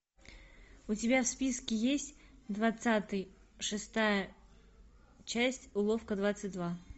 у тебя в списке есть двадцатый шестая часть уловка двадцать два